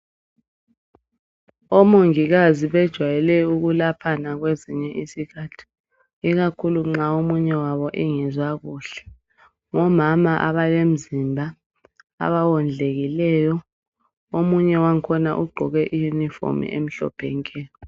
Omongikazi bejwayele ukulaphana kwezinye isikhathi. Ikakhulu nxa omunye wabo engezwa kuhle. Ngomama abalemzimba abawondlekileyo. Omunye wangkhona ugqoke iyunifomu emhlophe nke!